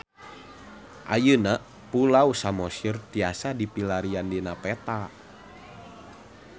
Ayeuna Pulau Samosir tiasa dipilarian dina peta